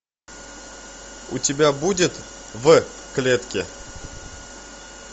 у тебя будет в клетке